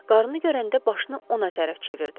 Qarını görəndə başını ona tərəf çevirdi.